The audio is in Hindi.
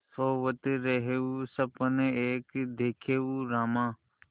सोवत रहेउँ सपन एक देखेउँ रामा